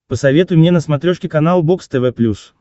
посоветуй мне на смотрешке канал бокс тв плюс